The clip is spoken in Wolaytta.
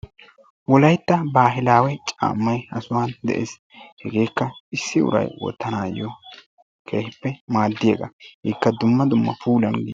wolaytta wogaa caammay ha sohuwan de'ees. Hegeekka issi uray wottanaayoo keehippe madiyaaga. Ikka dumma dumma puulanne.